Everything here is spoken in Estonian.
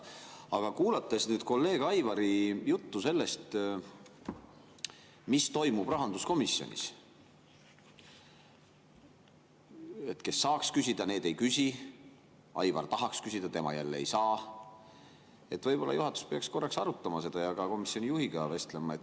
Aga kuulates kolleeg Aivari juttu sellest, mis toimub rahanduskomisjonis – kes saaks küsida, need ei küsi, Aivar tahaks küsida, aga tema jälle ei saa –, võib-olla juhatus peaks korraks arutama seda ja ka komisjoni juhiga vestlema.